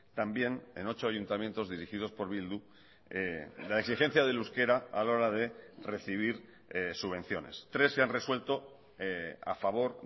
también en ocho ayuntamientos dirigidos por bildu la exigencia del euskera a la hora de recibir subvenciones tres se han resuelto a favor